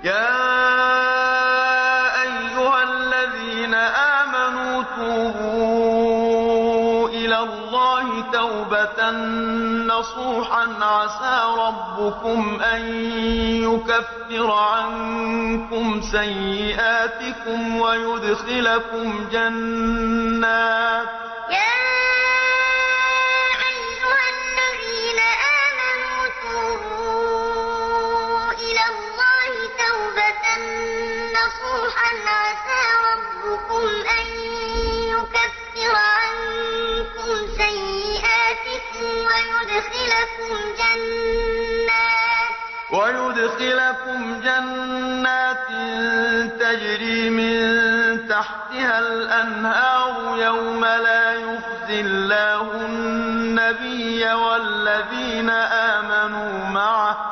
يَا أَيُّهَا الَّذِينَ آمَنُوا تُوبُوا إِلَى اللَّهِ تَوْبَةً نَّصُوحًا عَسَىٰ رَبُّكُمْ أَن يُكَفِّرَ عَنكُمْ سَيِّئَاتِكُمْ وَيُدْخِلَكُمْ جَنَّاتٍ تَجْرِي مِن تَحْتِهَا الْأَنْهَارُ يَوْمَ لَا يُخْزِي اللَّهُ النَّبِيَّ وَالَّذِينَ آمَنُوا مَعَهُ ۖ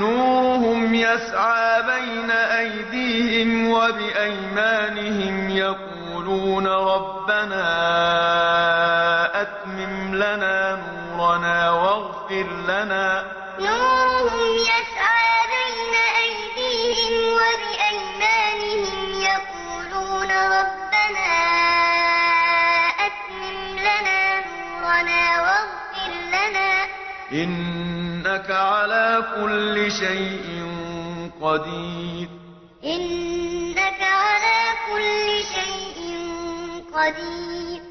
نُورُهُمْ يَسْعَىٰ بَيْنَ أَيْدِيهِمْ وَبِأَيْمَانِهِمْ يَقُولُونَ رَبَّنَا أَتْمِمْ لَنَا نُورَنَا وَاغْفِرْ لَنَا ۖ إِنَّكَ عَلَىٰ كُلِّ شَيْءٍ قَدِيرٌ يَا أَيُّهَا الَّذِينَ آمَنُوا تُوبُوا إِلَى اللَّهِ تَوْبَةً نَّصُوحًا عَسَىٰ رَبُّكُمْ أَن يُكَفِّرَ عَنكُمْ سَيِّئَاتِكُمْ وَيُدْخِلَكُمْ جَنَّاتٍ تَجْرِي مِن تَحْتِهَا الْأَنْهَارُ يَوْمَ لَا يُخْزِي اللَّهُ النَّبِيَّ وَالَّذِينَ آمَنُوا مَعَهُ ۖ نُورُهُمْ يَسْعَىٰ بَيْنَ أَيْدِيهِمْ وَبِأَيْمَانِهِمْ يَقُولُونَ رَبَّنَا أَتْمِمْ لَنَا نُورَنَا وَاغْفِرْ لَنَا ۖ إِنَّكَ عَلَىٰ كُلِّ شَيْءٍ قَدِيرٌ